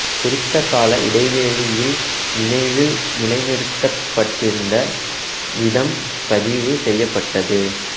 குறித்த கால இடைவெளியில் நினைவில் நிலைநிறுத்தப்பட்டிருந்த வீதம் பதிவு செய்யப்பட்டது